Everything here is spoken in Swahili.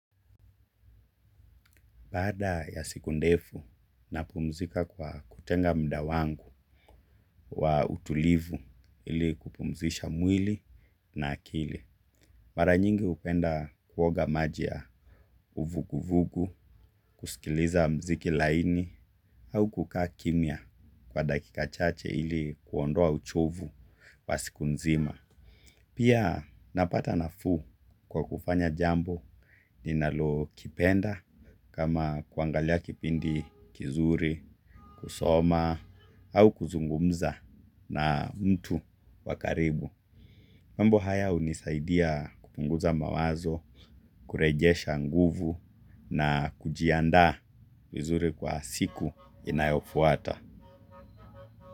Bada ya siku ndefu, napumzika kwa kutenga muda wangu wa utulivu ili kupumzisha mwili na akili. Mara nyingi hupenda kuoga maji ya uvuguvugu, kusikiliza muziki laini, au kukaa kimya kwa dakika chache ili kuondoa uchovu wa siku nzima. Pia napata nafuu kwa kufanya jambo ninalolipenda, kama kuangalia kipindi kizuri, kusoma au kuzungumza na mtu wa karibu. Mambo haya hunisaidia kupunguza mawazo, kurejesha nguvu na kujiandaa vizuri kwa siku inayofuata.